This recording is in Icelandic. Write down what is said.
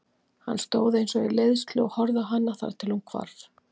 Hann stóð eins og í leiðslu og horfði á hana þar til hún hvarf.